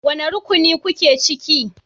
Wane rukuni kuke ciki?